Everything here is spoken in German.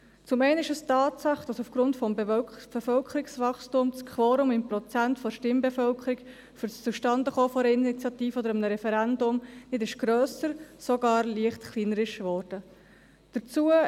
Zum einen ist es die Tatsache, dass aufgrund des Bevölkerungswachstums das Quorum in Prozenten der Stimmbevölkerung für das Zustandekommen einer Initiative oder eines Referendums nicht grösser, sondern sogar leicht kleiner geworden ist.